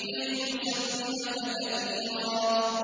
كَيْ نُسَبِّحَكَ كَثِيرًا